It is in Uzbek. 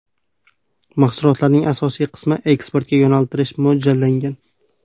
Mahsulotlarning asosiy qismini eksportga yo‘naltirish mo‘ljallangan.